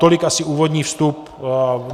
Tolik asi úvodní vstup.